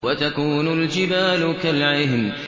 وَتَكُونُ الْجِبَالُ كَالْعِهْنِ